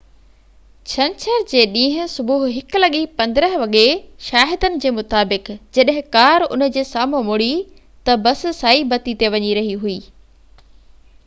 ڇنڇر جي ڏينهن صبح 1:15 وڳي شاهدن جي مطابق جڏهن ڪار ان جي سامهون مڙي ته بس سائي بتي تي وڃي رهي هئي